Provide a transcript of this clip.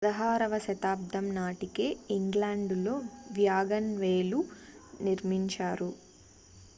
16వ శతాబ్దం నాటికే ఇంగ్లాండులో వ్యాగన్వేలు నిర్మించారు